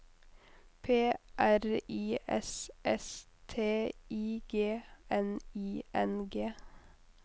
P R I S S T I G N I N G